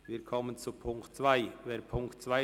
Wir kommen zur Ziffer 2 der Motion.